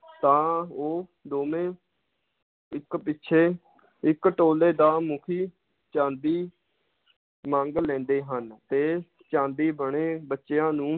ਤਾਂ ਉਹ ਦੋਵੇਂ ਇੱਕ ਪਿੱਛੇ ਇਕ ਟੋਲੇ ਦਾ ਮੁਖੀ ਚਾਂਦੀ ਮੰਗ ਲੈਂਦੇ ਹਨ ਤੇ ਚਾਂਦੀ ਬਣੇ ਬੱਚਿਆਂ ਨੂੰ